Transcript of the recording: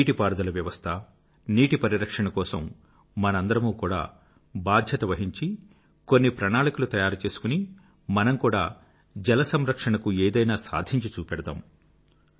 నీటి పారుదల వ్యవస్థ నీటి పరిరక్షణ కోసం మనందరమూ కూదా బాధ్యత వహించి కొన్ని ప్రణాళికలు తయారు చేసుకుని మనం కూడా జల సంరక్షణకు ఏదైనా సాధించి చూపెడదాం